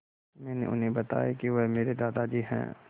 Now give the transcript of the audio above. मैंने उन्हें बताया कि वह मेरे दादाजी हैं